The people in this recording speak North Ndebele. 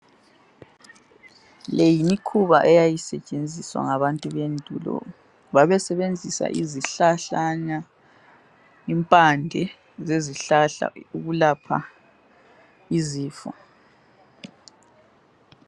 Le yimikhuba eyayisetshenzisWa ngabantu bendulo babesebenzisa izihlahlana impande ezihlahla ukulapha izifo